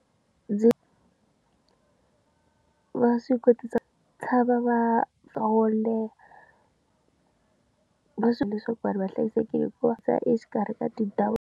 Ndzi va swi kotisa tshama va twa wo leha va swi leswaku vanhu va hlayisekile hi ku va siya exikarhi ka tindhawu.